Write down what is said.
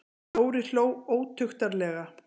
Dóri hló ótuktarlega.